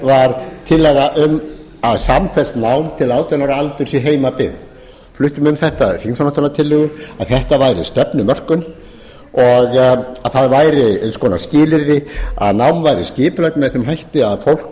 var tillaga um samfellt nám til átján ára aldurs í heimabyggð við fluttum um þetta þingsályktunartillögu að þetta væri stefnumörkun og að það væri eins konar skilyrði að nám væri skipulagt með þeim hætti að fólk